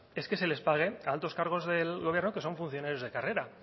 es que se les pague a altos cargos del gobierno que son funcionarios de carrera